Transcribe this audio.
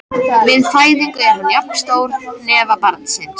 Við fæðingu er hann jafn stór hnefa barnsins.